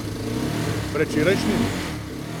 Predvčerajšnjim?